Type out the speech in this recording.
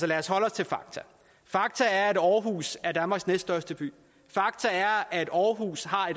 lad os holde os til fakta fakta er at aarhus er danmarks næststørste by fakta er at aarhus har